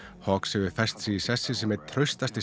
hawkes hefur fest sig í sessi sem einn traustast